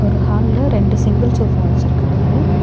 ஒரு ஹால்ல ரெண்டு சிங்கிள் சோஃப்பா வச்சுருக்காங்க.